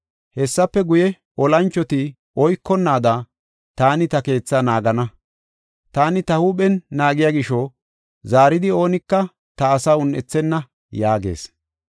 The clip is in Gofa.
Hessafe guye, olanchoti oykonnaada, taani ta keethaa naagana. Taani ta huuphen naagiya gisho, zaaridi oonika ta asaa un7ethenna” yaagees.